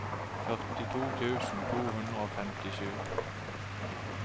førtito tusen to hundre og femtisju